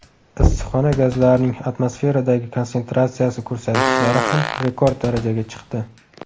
Issiqxona gazlarining atmosferadagi konsentratsiyasi ko‘rsatkichlari ham rekord darajaga chiqdi.